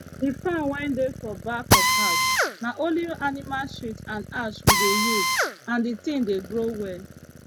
the farm wey dey for back of house na only animal shit and ash we dey use and the thing dey grow well